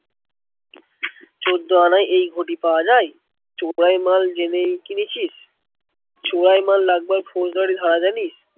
চোদ্দ আনায় এই ঘটি পাওয়া যায়? চোরাই মাল জেনেই কিনেছিস? চোরাই মাল রাখবার ফৌজদারি হয় জানিস?